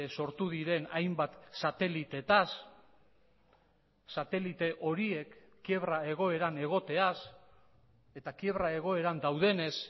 sortu diren hainbat sateliteetaz satelite horiek kiebra egoeran egoteaz eta kiebra egoeran daudenez